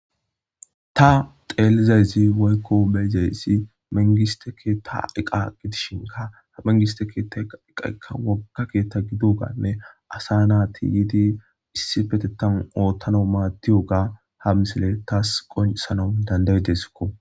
Ta xeelizayzi woykko beyzaysi mengiste keetta eqa gidishinka ha mengiste keetta eqa'ka woga keetta gidougaanne asa naa tiyiidi issi petettan oottano maattiyo ga ha misile taas qonsanon dandaydesko.